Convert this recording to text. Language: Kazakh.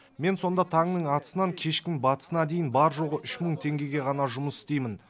мен сонда таңның атысынан кештің батысына дейін бар жоғы үш мың теңгеге ғана жұмыс істеймін